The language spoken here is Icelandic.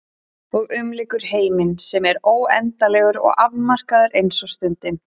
Og umlykur heiminn sem er óendanlegur og afmarkaður eins og stundin.